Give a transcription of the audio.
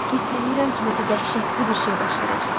Hiss eləyirəm ki, nəsə dəhşətli bir şey baş verəcək.